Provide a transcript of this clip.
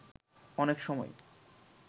অনেক সময়